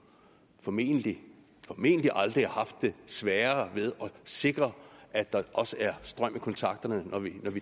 formentlig aldrig har haft sværere ved at sikre at der også er strøm i kontakterne når vi